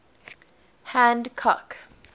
hancock